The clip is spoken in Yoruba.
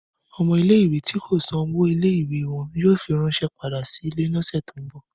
Ọmọ ìle-ìwe ti ko san owo ìle-ìwe wọn yoo firanṣẹ pada si ile ni ọsẹ ti n bọ.